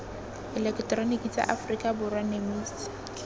eleketeroniki sa aforika borwa nemisa